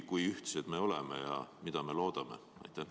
Kui ühtsed me oleme ja mida me loodame?